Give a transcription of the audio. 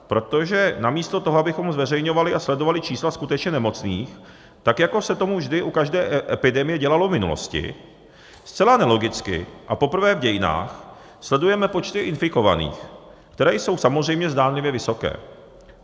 Protože namísto toho, abychom zveřejňovali a sledovali čísla skutečně nemocných, tak jako se to vždy u každé epidemie dělalo v minulosti, zcela nelogicky a poprvé v dějinách sledujeme počty infikovaných, které jsou samozřejmě zdánlivě vysoké.